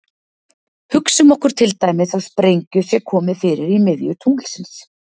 Hugsum okkur til dæmis að sprengju sé komið fyrir í miðju tunglsins.